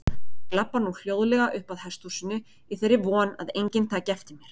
Ég labba nú hljóðlega uppað hesthúsinu í þeirri von að enginn taki eftir mér.